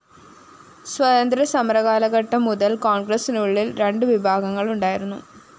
സ്വാതന്ത്ര്യ സമരകാലഘട്ടം മുതല്‍ കോണ്‍ഗ്രസിനുള്ളില്‍ രണ്ടു വിഭാഗങ്ങളുണ്ടായിരുന്നു